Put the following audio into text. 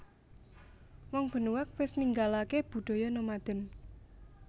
Wong Benuaq wis ninggalake budaya nomaden